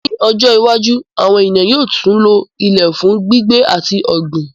Ní ọjọ́ iwájú, àwọn ènìyàn yóò tún lo Ilẹ̀ fún gbígbé àti ọ̀gbìn.